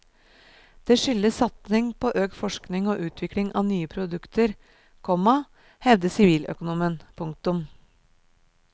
Det skyldes satsing på økt forskning og utvikling av nye produkter, komma hevder siviløkonomen. punktum